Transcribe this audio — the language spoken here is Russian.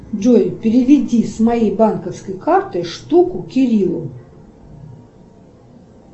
джой переведи с моей банковской карты штуку кириллу